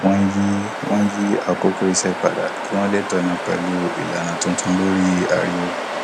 wọn yí wọn yí àkókò iṣẹ padà kí wọn lè tọnà pẹlú ìlànà tuntun lórí ariwo